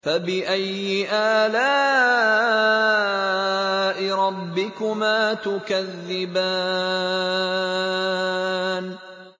فَبِأَيِّ آلَاءِ رَبِّكُمَا تُكَذِّبَانِ